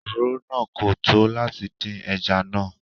Oròrò náà kò tó látì dìn ẹ̀já náà.